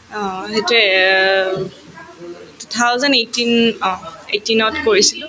অ, সেইটোয়ে um two thousand eighteen uh eighteen ত কৰিছিলো